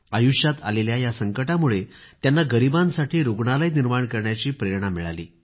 आयुष्यात आलेल्या या संकटामुळे त्यांना गरीबांसाठी रूग्णालय निर्माण करण्याची प्रेरणा त्यांना मिळाली